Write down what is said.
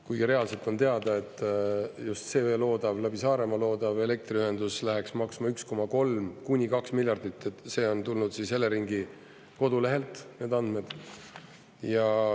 Kuigi reaalselt on teada, et just see läbi Saaremaa loodav elektriühendus läheks maksma 1,3–2 miljardit, see on tulnud siis Eleringi kodulehelt, need andmed.